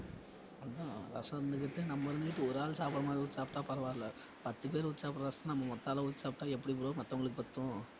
அதான் ரசம் இருந்துகிட்டு நம்ம இருந்துகிட்டு ஒரு ஆளு சாப்பிடறமாரி ஊத்தி சாப்பிட்டா பரவாயில்ல பத்து பேரு ஊத்தி சாப்பிடுற ரசத்தை நம்ம ஒத்த ஆளா ஊத்தி சாப்பிட்டா எப்படி bro மத்தவங்களுக்கு பத்தும்?